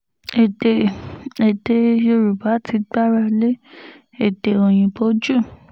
èdè èdè yorùbá ti gbára lé èdè òyìnbó jù